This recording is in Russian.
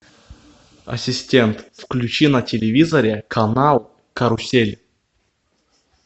ассистент включи на телевизоре канал карусель